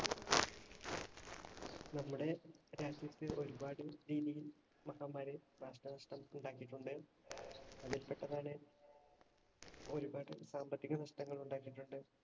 നമ്മുടെ രാജ്യത്ത് ഒരുപാട് രീതിയിൽ മഹാമാരി നാശനഷ്ടം ഉണ്ടാക്കിയിട്ടുണ്ട്. അതിൽ പെട്ടതാണ് ഒരുപാട് സാമ്പത്തിക നഷ്ടങ്ങൾ ഉണ്ടാക്കിയിട്ടുണ്ട്.